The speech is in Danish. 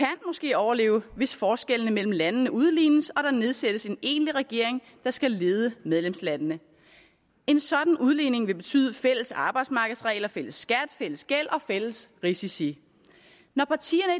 overleve hvis forskellene mellem landene udlignes og der nedsættes en egentlig regering der skal lede medlemslandene en sådan udligning vil betyde fælles arbejdsmarkedsregler fælles skat fælles gæld og fælles risici når partierne